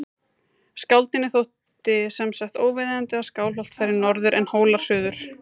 Skáldinu þótti sem sagt óviðeigandi að Skálholt færi norður en Hólar suður.